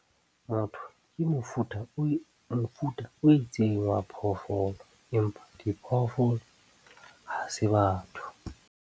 Motho ke mofuta o itseng wa phoofolo empa diphoofolo ha se batho.